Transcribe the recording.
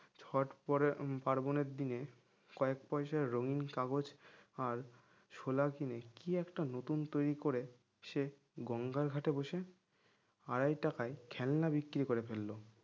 ছোট পরে পার্বনের দিনে কয়েক পয়সার রঙিন কাগজ আর ছোলা কিনে কি একটা নতুন তৈরি করে সে গঙ্গার ঘাটে বসে আড়াই টাকায় খেলনা বিক্রি করে ফেললো